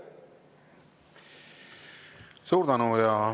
Suur tänu!